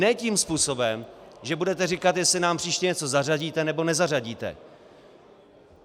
Ne tím způsobem, že budeme říkat, jestli nám příště něco zařadíte, nebo nezařadíte.